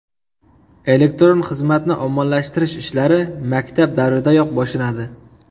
Elektron xizmatni ommalashtirish ishlari maktab davridanoq boshlanadi.